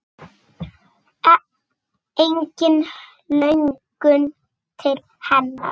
Engin löngun til hennar.